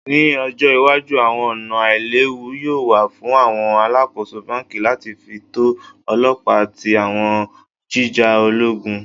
Ni ojo iwaju awọn ọna ailewu yoo wa fun awọn alakoso banki lati fi to ọlọpa ti awọn jija ologun?